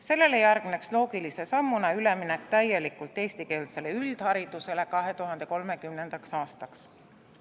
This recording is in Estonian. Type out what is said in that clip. Sellele järgneks loogilise sammuna üleminek täielikult eestikeelsele üldharidusele 2030. aastaks.